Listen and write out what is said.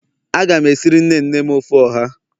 Aga m esiri nne nne m ofe oha.